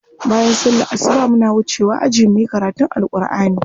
Bayan sallar asuba muna wucewa aji muyi karatun Alkur'ani.